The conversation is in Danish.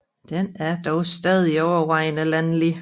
Den er dog stadig overvejende landlig